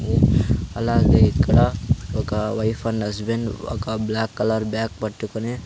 అలాగే ఇక్కడ ఒక వైప్ అండ్ హస్బెండ్ ఒక బ్లాక్ కలర్ బాగ్ పట్టుకొని--